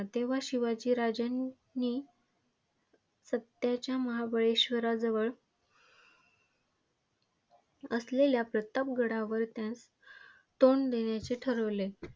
तेव्हा शिवाजी राजांनी सध्याच्या महाबळेश्वराजवळ वसलेल्या प्रताप गडावरून तोंड देण्याचे ठरवले.